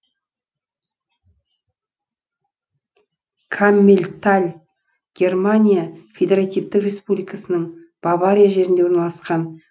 каммельталь германия федеративтік республикасының бавария жерінде орналасқан